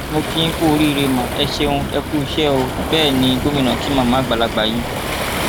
mo kí yín kúú oríire má ẹ ṣeun ẹ kúuṣẹ ó bẹẹ ní gómìnà kí màmá àgbàlagbà yìí